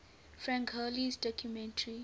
frank hurley's documentary